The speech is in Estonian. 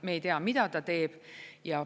Me ei tea, mida ta teeb.